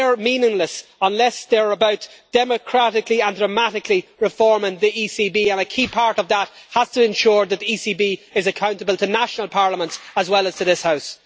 They are meaningless unless they are about democratically and dramatically reforming the ECB, and a key part of that has to ensure that the ECB is accountable to national parliaments, as well as to this House.